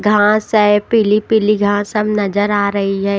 घास है पीली-पीली घांस सब नजर आ रही है।